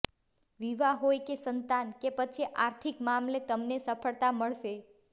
વિવાહ હોય કે સંતાન કે પછી આર્થિક મામલે તમને સફળતા મળશે